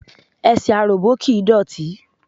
Ẹsẹ̀ aròbó kìí dọ̀tí.